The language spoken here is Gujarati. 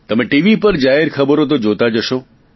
તમે ટીવી પર જાહેરખબરો તો જોતા જ હશો